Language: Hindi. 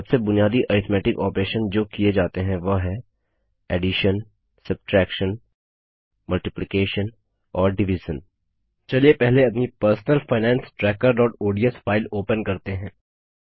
सबसे बुनियादी अरिथ्मेटिक ऑपरेशन जो किए जाते हैं वह हैं एडिशनसब्ट्रैक्शन मल्टीप्लिकेशन और डिविज़न चलिए पहले अपनी Personal Finance Trackerodsफाइल ओपन करते हैं